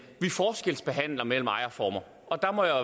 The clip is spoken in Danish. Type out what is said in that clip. vi forskelsbehandler mellem ejerformer og der må jeg